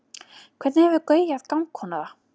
hvernig hefur gauja gangkona það